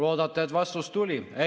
Loodate, et vastus tuli?